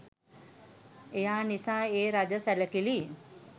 එයා නිසා ඒ රජ සැලකිලි